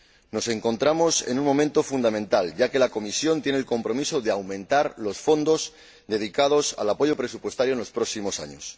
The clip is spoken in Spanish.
Nos encontramos en un momento fundamental, ya que la Comisión tiene el compromiso de aumentar los fondos dedicados al apoyo presupuestario en los próximos años.